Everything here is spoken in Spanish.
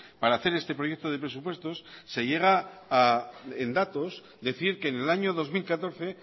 para hacer este proyecto de presupuestos se llega a en datos decir que en el año dos mil catorce